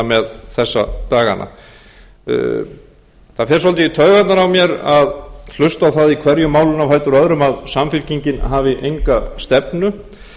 með þessa dagana það fer svolítið í taugarnar á mér að hlusta á það í hverju málinu á fætur öðru að samfylkingin hafi enga stefnu